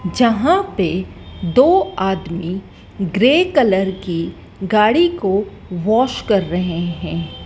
जहां पे दो आदमी ग्रे कलर की गाड़ी को वॉश कर रहे हैं।